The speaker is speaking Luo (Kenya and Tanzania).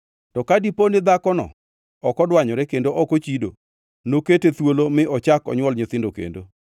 To ka dipo ni dhakono ok odwanyore kendo ok ochido, nokete thuolo mi ochak onywol nyithindo kendo.